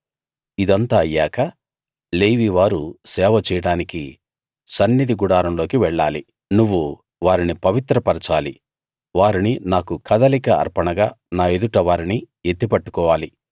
ఇదంతా అయ్యాక లేవీ వారు సేవ చేయడానికి సన్నిధి గుడారంలోకి వెళ్ళాలి నువ్వు వారిని పవిత్ర పరచాలి వారిని నాకు కదలిక అర్పణ గా నా ఎదుట వారిని ఎత్తి పట్టుకోవాలి